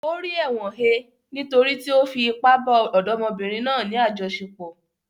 O ri ẹ̀wọ̀n he nítorí tí ó fi ipá bá ọ̀dọ́mọbìnrin náà ní àjọṣepọ̀.